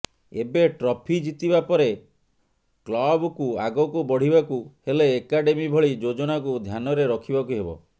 ଏବେ ଟ୍ରଫି ଜିତିବା ପରେ କ୍ଲବ୍କୁ ଆଗକୁ ବଢିବାକୁ ହେଲେ ଏକାଡେମୀ ଭଳି ଯୋଜନାକୁ ଧ୍ୟାନରେ ରଖିବାକୁ ହେବ